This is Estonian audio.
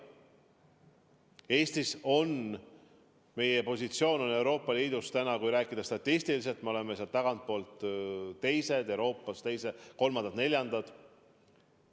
Eesti positsioon Euroopa Liidus on, kui rääkida statistiliselt, selline, et me oleme tagantpoolt teised, Euroopas aga kolmandad-neljandad.